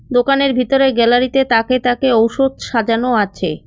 দোকানের ভিতরে গ্যালারিতে তাকে তাকে ঔষধ সাজানো আছে।